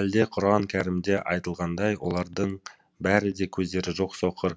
әлде құран кәрімде айтылғандай олардың бәрі де көздері жоқ соқыр